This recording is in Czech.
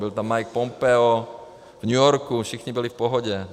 Byl tam Mike Pompeo, v New Yorku, všichni byli v pohodě.